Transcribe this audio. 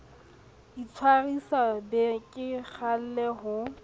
itshwarisa be ke ikwalle ho